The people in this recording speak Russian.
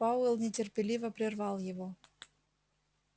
пауэлл нетерпеливо прервал его